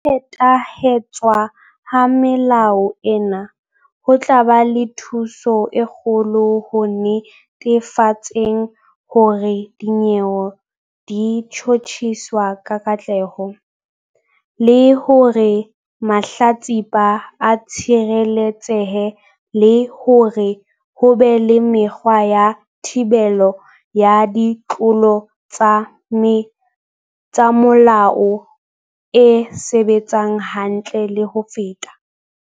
Ho phethahatswa ha melao ena ho tla ba le thuso e kgolo ho netefatseng hore dinyewe di tjhotjhiswa ka katleho, le hore mahlatsipa a tshireletsehe le hore ho be le mekgwa ya thibelo ya ditlolo tsa molao e sebetsang hantle le ho feta.